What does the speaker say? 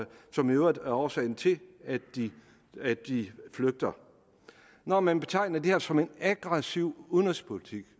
som i øvrigt er årsagen til at de flygter når man betegner det her som en aggressiv udenrigspolitik